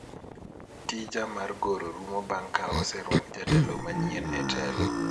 tija mar goro rumo bang' ka oserwak jatelo manyien e telo